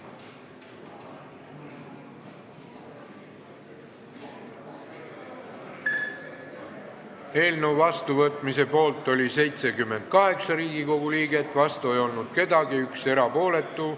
Hääletustulemused Eelnõu vastuvõtmise poolt oli 78 Riigikogu liiget, vastu ei olnud keegi, 1 erapooletu.